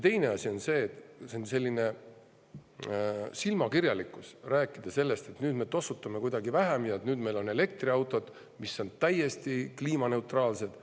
Teine asi on see, et on silmakirjalik rääkida sellest, et nüüd me tossutame kuidagi vähem ja meil on elektriautod, mis on täiesti kliimaneutraalsed.